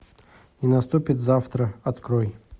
и наступит завтра открой